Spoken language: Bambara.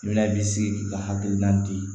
I la i bi sigi i ka hakilina di